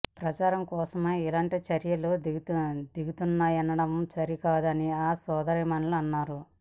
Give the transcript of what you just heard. ప్రచారం కోసమే ఇలాంటి చర్యలకు దిగుతున్నామనడం సరికాదని ఆ సోదరీమణులు అన్నారు